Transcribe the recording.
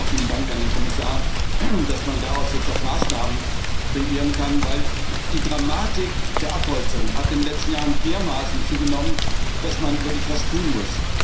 Auch vielen Dank an den Kommissar, dass man daraus jetzt auch Maßnahmen kreieren kann, denn die Dramatik der Abholzung hat in den letzten Jahren dermaßen zugenommen, dass man wirklich was tun muss.